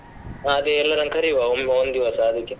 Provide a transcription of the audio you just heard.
ಹಾ ಅದೇ ಎಲ್ಲರನ್ನೂ ಕರಿವಾ ಒಮ್ಮೆ ಒಂದ್ದಿವಸ ಅದಿಕ್ಕೆ.